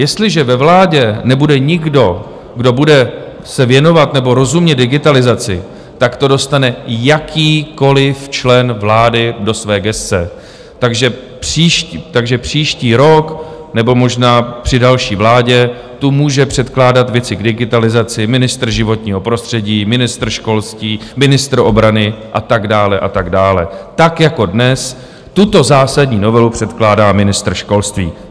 Jestliže ve vládě nebude nikdo, kdo bude se věnovat nebo rozumět digitalizaci, tak to dostane jakýkoliv člen vlády do své gesce, takže příští rok nebo možná při další vládě tu může předkládat věci k digitalizaci ministr životního prostředí, ministr školství, ministr obrany a tak dále a tak dále, tak jako dnes tuto zásadní novelu předkládá ministr školství.